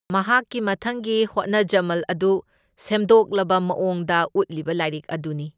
ꯃꯍꯥꯛꯀꯤ ꯃꯊꯪꯒꯤ ꯍꯣꯠꯅꯖꯃꯜ ꯑꯗꯨ ꯁꯦꯝꯗꯣꯛꯂꯕ ꯃꯑꯣꯡꯗ ꯎꯠꯂꯤꯕ ꯂꯥꯏꯔꯤꯛ ꯑꯗꯨꯅꯤ꯫